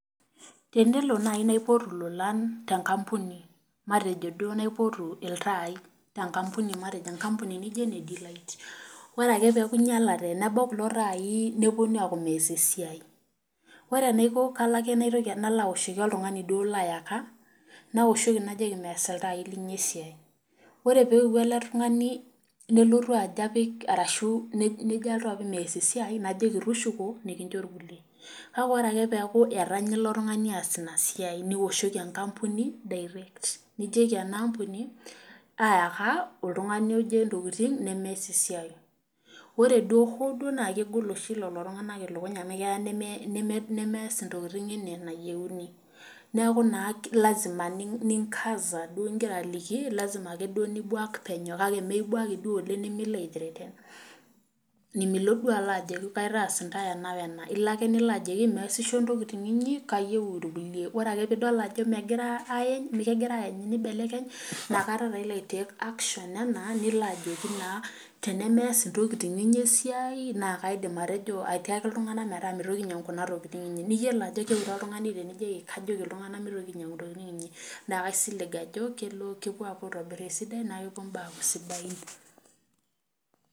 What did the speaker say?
Tenelo naaji naipotu lolan tenkampuni matejo duo naipotu iltai tenkampuni naijo ene de light orake pee eku einyalate nebau kulo taai neeku mees esiai ore enaiko kalo ake nalo aoshoki oltungani duo layaka naoshoki najoki mees iltai linyi esiai ,ore pee eyeuo ele tungani nelotu ejo apik mees esiai najoki tushuko nikincho irkulie. kake ore ake pee eku etanaya ilo tungani ees ina siai niwoshoki enkampuni direct nijoki enampuni ayaka oltungani oje ntokiting nemees esiai ,ore hoo duo naa kegol oshi lelo tunganak ilukuny amu keyau nemes ntokiting ena enayieuni neeku naa lasima naake ninkaza lasima,a nibwak penyo nimibwaaki duo oleng nimilo threaten nimilo duo ajoki kaitas intae ena wena ilo duo ake nilo ajoki meesisho intokiting inyi kayieu irkulie ore ake pee idol ajo kegira eibelekeny inakata ilo aitek action nilo ajoki naa tenemeeta intokiting inyi esiai naa kaidim atiaki iltunganak pee mitoki ainyangu kuna tokiting inyi ,niyiolou ajo keure oltungani tenijoki kajoki iltunganak neitoki ainyangu intokiting inyi naa kaising ajo kepuo aitobir esidai naa kepuo imbaa aaku sidain.